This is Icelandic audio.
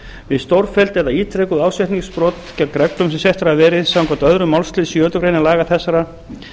við stórfelld eða ítrekuð ásetningsbrot gegn reglum sem settar hafa verið samkvæmt öðrum málsl sjöundu grein laga þessara